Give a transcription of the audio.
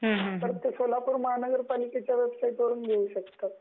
तर ते सोलापूर महानगरपालिकेच्या वेबसाईटवरून घेऊ शकतात